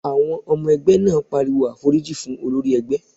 Àwọn ọmọ ẹgbẹ́ náà pariwo "àforíjì fún olórí ẹgbẹ́!"